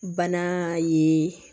Bana ye